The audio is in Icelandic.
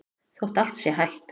Þótt allt sé hætt?